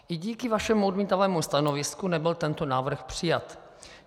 I díky vašemu odmítavému stanovisku nebyl tento návrh přijat.